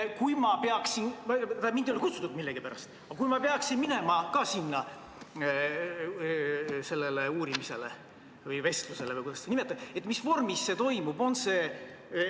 Kui ma peaksin – mind ei ole millegipärast kutsutud – samuti minema sellele uurimisele või vestlusele või kuidas seda nimetada, siis mis vormis see toimub?